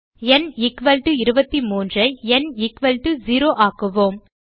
ந் 23 ஐ ந் 0 ஆக்குவோம்